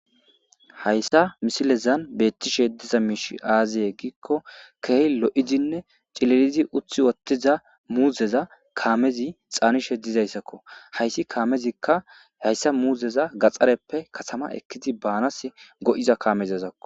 Hayisa misilezan beettishe diza miish aaziye giikko keeh lo'izinne cilerizi uthi wottiza muuzeza kaamezi xaanishe dizayssakko hayssi kaamezikka hayssa muuzeza gaxxareppe katama ekkizi baanas go'iza kaamezazakko